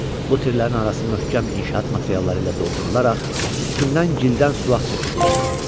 Bu tirlərin arası möhkəm inşaat materialları ilə doldurularaq, üstündən gildən suvaq çəkilmişdi.